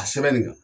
A sɛbɛn nin kan